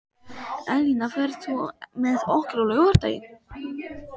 Elína, ferð þú með okkur á laugardaginn?